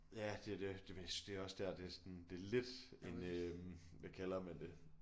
Ja det er det det vil det er også der det er sådan det er lidt en øh hvad kalder man det